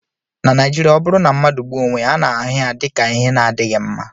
na Naijiria, ọ bụrụ na mmadụ gbuo onwe ya, a na-ahụ ya dị ka ihe na-adịghị mma